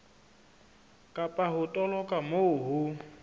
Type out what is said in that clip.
kapa ho toloka moo ho